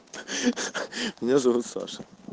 ха-ха меня зовут саша